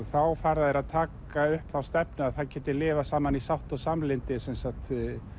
þá fara þeir að taka upp þá stefnu að það geti lifað saman í sátt og samlyndi sem sagt